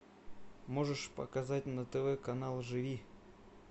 можешь показать на тв канал живи